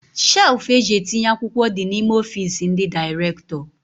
Shelfu eji etinye akwụkwọ dị n'ime ọfiisi ndị direktọ